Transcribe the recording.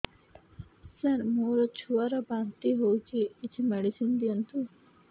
ସାର ମୋର ଛୁଆ ର ବାନ୍ତି ହଉଚି କିଛି ମେଡିସିନ ଦିଅନ୍ତୁ